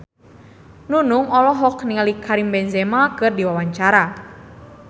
Nunung olohok ningali Karim Benzema keur diwawancara